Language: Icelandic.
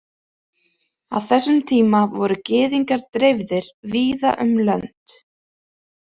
Á þessum tíma voru Gyðingar dreifðir víða um lönd.